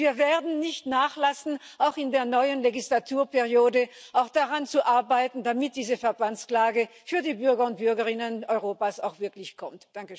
Und wir werden nicht nachlassen, auch in der neuen Wahlperiode daran zu arbeiten, damit diese Verbandsklage für die Bürger und Bürgerinnen Europas auch wirklich kommt.